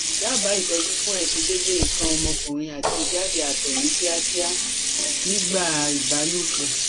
Daba itọju fun aisedede ikan omokunrin ati ijade ato ni kiakia nigba ibalopo